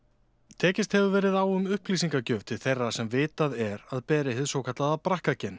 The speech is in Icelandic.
tekist hefur verið á um upplýsingagjöf til þeirra sem vitað er að beri hið svokallaða